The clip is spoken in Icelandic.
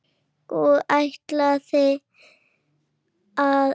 Og ætlarðu að fylgja honum?